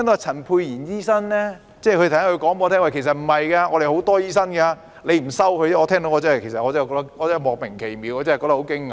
陳沛然醫生剛才說，我們有很多醫生，只是政府不收而已，我聽完感到莫名其妙，很驚訝。